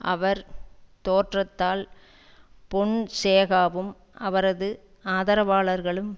அவர் தோற்றால் பொன்சேகாவும் அவரது ஆதரவாளர்களும்